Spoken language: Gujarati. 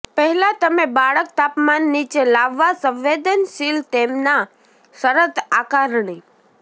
પહેલાં તમે બાળક તાપમાન નીચે લાવવા સંવેદનશીલ તેમના શરત આકારણી